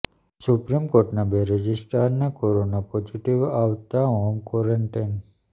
supreme કોર્ટના બે રજિસ્ટ્રારને કોરોના પોઝીટીવ આવતા હોમ ક્વોરેન્ટાઈન